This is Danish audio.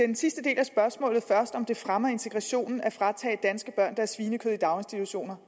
den sidste del af spørgsmålet først nemlig om det fremmer integrationen at fratage danske børn deres svinekød i daginstitutioner